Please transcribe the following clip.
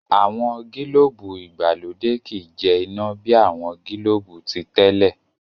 àwọn gilobu ìgbàlódé ki jẹ ina bi awọn gilobu titẹle.